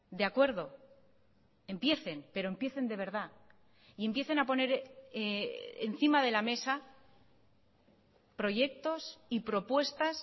de acuerdo empiecen pero empiecen de verdad y empiecen a poner encima de la mesa proyectos y propuestas